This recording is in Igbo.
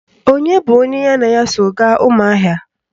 Onye bụ onye ya na ya so gaa Ụmụahịa?